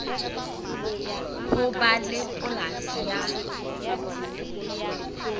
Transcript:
ho ba le polasi ya